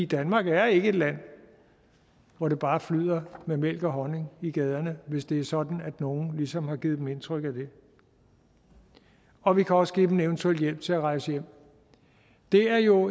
danmark er ikke et land hvor det bare flyder med mælk og honning i gaderne hvis det er sådan at nogen ligesom har givet dem indtryk af det og vi kan også give dem en eventuel hjælp til at rejse hjem det er jo